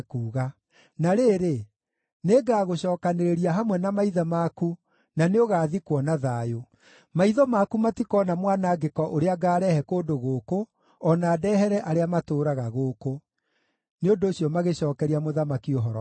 Na rĩrĩ, nĩngagũcookanĩrĩria hamwe na maithe maku, na nĩũgathikwo na thayũ. Maitho maku matikoona mwanangĩko ũrĩa ngaarehe kũndũ gũkũ, o na ndehere arĩa matũũraga gũkũ.’ ” Nĩ ũndũ ũcio magĩcookeria mũthamaki ũhoro ũcio.